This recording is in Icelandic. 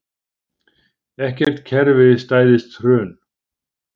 Ekkert kerfi stæðist hrun